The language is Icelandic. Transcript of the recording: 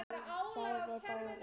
sagði Dóri.